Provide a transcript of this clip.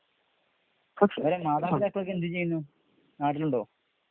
അവരുടെ മാതാപിതാക്കളൊക്കെ എന്തുചെയ്യുന്നു? നാട്ടിലുണ്ടോ?